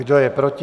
Kdo je proti?